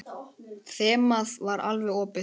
Þemað var alveg opið.